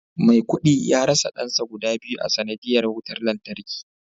maikudi ya rasa dansa guda biyu a sanadiyyar wutar lantarki